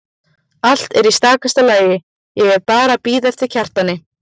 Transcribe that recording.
Allt er í stakasta lagi, ég er bara að bíða eftir Kjartani.